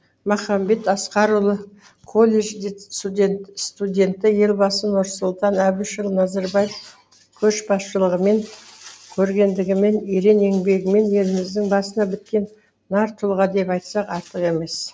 махамбет асқарұлы колледж студенті елбасы нұрсұлтан әбішұлы назарбаев көшбасшылығымен көрегенділігімен ерен еңбегімен еліміздің басына біткен нар тұлға деп айтсақ артық емес